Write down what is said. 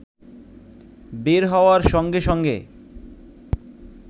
বের হওয়ার সঙ্গে সঙ্গে